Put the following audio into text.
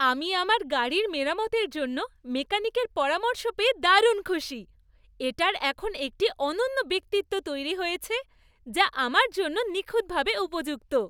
আমি আমার গাড়ির মেরামতের জন্য মেকানিকের পরামর্শ পেয়ে দারুণ খুশি। এটার এখন একটি অনন্য ব্যক্তিত্ব তৈরি হয়েছে যা আমার জন্য নিখুঁতভাবে উপযুক্ত।